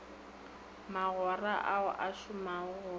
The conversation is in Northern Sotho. magora ao a šomago go